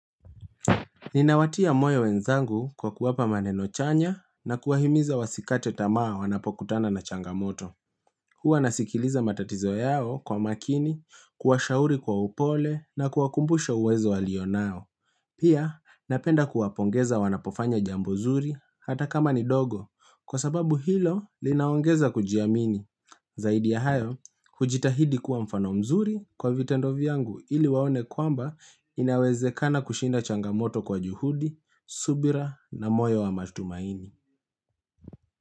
Ninawatia moyo wenzangu kwa kuwapa maneno chanya na kuwahimiza wasikate tamaa wanapokutana na changamoto. Hua nasikiliza matatizo yao kwa makini, kuwashauri kwa upole na kuwakumbusha uwezo walio nayo. Pia napenda kuwapongeza wanapofanya jambo zuri hata kama ni dogo kwa sababu hilo linaongeza kujiamini. Zaidi ya hayo, hujitahidi kuwa mfano mzuri kwa vitendo vyangu ili waone kwamba inawezekana kushinda changamoto kwa juhudi, subira na moyo wa matumaini.